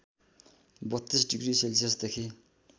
३२ degree सेल्सियसदेखि